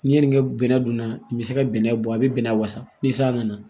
N'i ye nin kɛ bɛnɛ dunna i be se ka bɛnɛ bɔ a be bɛnnɛ wasa ni san nana